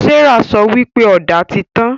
Serah sọ wípé Ọ̀dà tí tàn